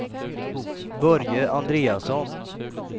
Börje Andreasson